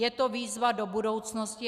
Je to výzva do budoucnosti.